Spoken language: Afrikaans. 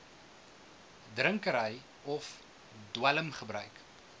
drinkery of dwelmgebruik